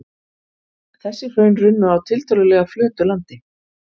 Þessi hraun runnu á tiltölulega flötu landi.